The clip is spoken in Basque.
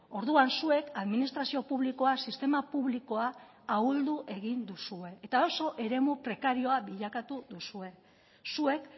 orduan zuek administrazio publikoa sistema publikoa ahuldu egin duzue eta oso eremu prekarioa bilakatu duzue zuek